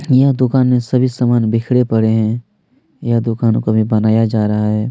यह दुकान में सभी समान बिखरे पड़े है यह दुकानों को अभी बनाया जा रहा है।